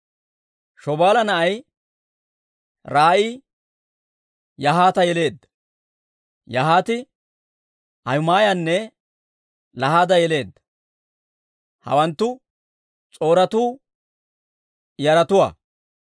Shobaala na'ay Ra'aayi Yahaata yeleedda; Yahaati Ahumaayanne Lahaada yeleedda. Hawanttu S'or"atu yaratuwaa.